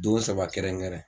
Don saba kɛrɛnkɛrɛn.